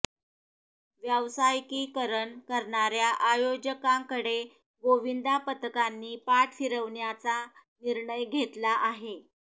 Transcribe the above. व्यावसायिकीकरण करणाऱ्या आयोजकांकडे गोविंदा पथकांनी पाठ फिरवण्याचा निर्णय घेतला आहे